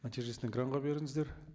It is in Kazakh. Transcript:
нәтижесін экранға беріңіздер